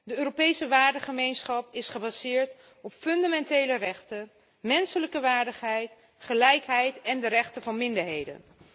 De Europese waardengemeenschap is gebaseerd op grondrechten, menselijke waardigheid, gelijkheid en de rechten van minderheden.